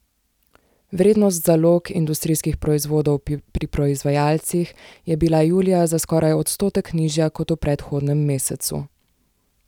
Vrednost zalog industrijskih proizvodov pri proizvajalcih je bila julija za skoraj odstotek nižja kot v predhodnem mesecu.